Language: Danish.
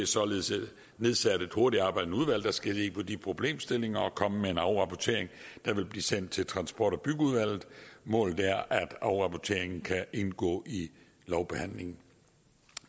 således nedsat et hurtigtarbejdende udvalg der skal se på de problemstillinger og komme med en afrapportering der vil blive sendt til transport og bygningsudvalget målet er at afrapporteringen kan indgå i lovbehandlingen